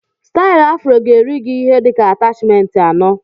Stailu afro ga-eri gị ihe dịka atachment anọ